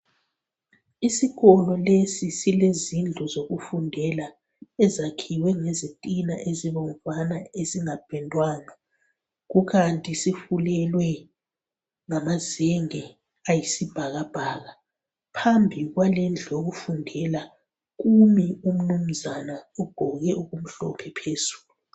Isikolo lesi sile zindlu zokufundela ezakhiwe ngezitina ezibomvana esingapendwanga kukanti sifulelwe ngamazenge ayisibhakabhaka phambi kwalendlu yokufundela kumi umnumzana uqgoke okumhlophe phezulu